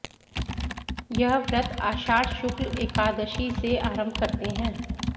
यह व्रत आषाढ शुक्ल एकादशीसे आरंभ करते हैं